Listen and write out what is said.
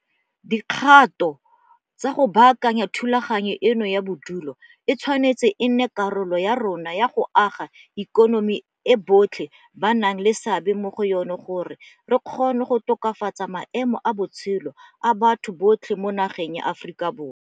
Dikgato tsa go baakanya thulaganyo eno ya bodulo e tshwanetse e nne karolo ya rona ya go aga ikonomi e botlhe ba nang le seabe mo go yona gore re kgone go tokafatsa maemo a botshelo a batho botlhe mo nageng ya Aforika Borwa.